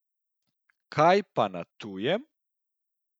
Kaj pa na tujem?